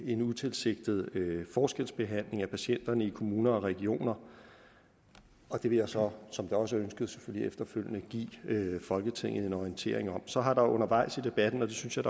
en utilsigtet forskelsbehandling af patienterne i kommuner og regioner og det vil jeg så som det også er ønsket selvfølgelig efterfølgende give folketinget en orientering om så har der undervejs i debatten og det synes jeg